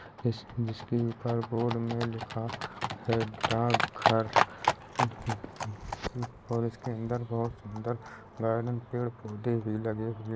इस जिसके ऊपर बोर्ड में लिखा है डाक घर और इसके अंदर बहोत सुंदर गार्डन पेड़ पौधे भी लगे हुए --